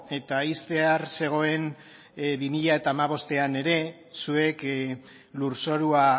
eta ixtear zegoen bi mila hamabostean ere zuek lurzorua